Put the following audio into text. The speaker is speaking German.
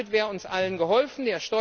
Damit wäre uns allen geholfen.